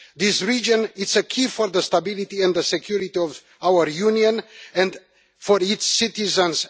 This region is key for the stability and the security of our Union and for its citizens.